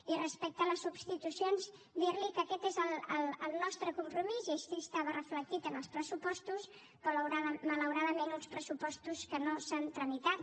i respecte a les substitucions dir li que aquest és el nostre compromís i així estava reflectit en els pressupostos però malauradament uns pressupostos que no s’han tramitat